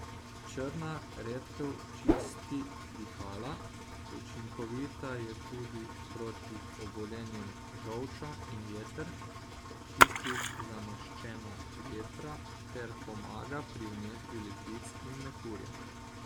Črna redkev čisti dihala, učinkovita je tudi proti obolenjem žolča in jeter, čisti zamaščena jetra ter pomaga pri vnetju ledvic in mehurja.